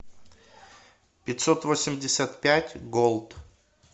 пятьсотвосемьдесятпятьголд